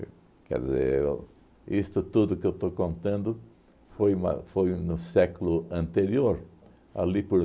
Quer dizer, isto tudo que eu estou contando foi uma foi no século anterior, ali por